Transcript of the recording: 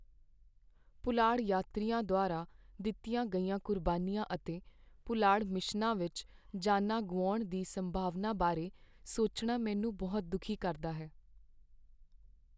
ਪੁਲਾੜ ਯਾਤਰੀਆਂ ਦੁਆਰਾ ਦਿੱਤੀਆਂ ਗਈਆਂ ਕੁਰਬਾਨੀਆਂ ਅਤੇ ਪੁਲਾੜ ਮਿਸ਼ਨਾਂ ਵਿੱਚ ਜਾਨਾਂ ਗੁਆਉਣ ਦੀ ਸੰਭਾਵਨਾ ਬਾਰੇ ਸੋਚਣਾ ਮੈਨੂੰ ਬਹੁਤ ਦੁਖੀ ਕਰਦਾ ਹੈ।